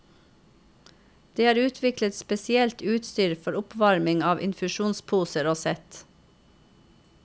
Det er utviklet spesielt utstyr for oppvarming av infusjonsposer og sett.